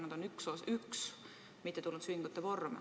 Nad on üks mittetulundusühingute vorm.